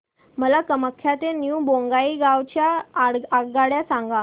मला कामाख्या ते न्यू बोंगाईगाव च्या आगगाड्या सांगा